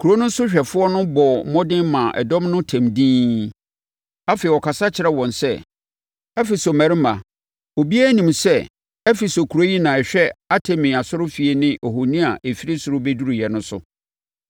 Kuro no sohwɛfoɔ no bɔɔ mmɔden maa dɔm no tɛm dinn. Afei, ɔkasa kyerɛɛ wɔn sɛ, “Efeso mmarima, obiara nim sɛ Efeso kuro yi na ɛhwɛ Artemi asɔrefie ne ohoni a ɛfiri soro bɛduruiɛ no so.